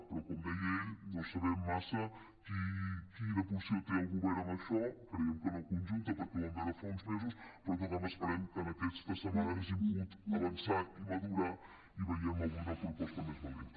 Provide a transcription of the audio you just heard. però com deia ell no sabem massa quina posició té el govern en això creiem que no conjunta perquè ho vam veure fa uns mesos però en tot cas esperem que en aquesta setmana hagin pogut avançar i madurar i vegem avui una proposta més valenta